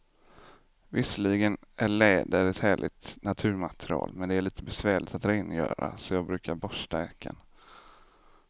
Visserligen är läder ett härligt naturmaterial, men det är lite besvärligt att rengöra, så jag brukar borsta jackan.